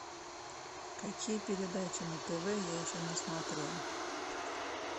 какие передачи на тв я еще не смотрел